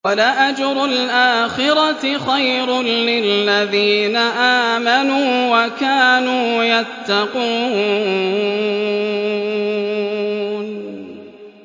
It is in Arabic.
وَلَأَجْرُ الْآخِرَةِ خَيْرٌ لِّلَّذِينَ آمَنُوا وَكَانُوا يَتَّقُونَ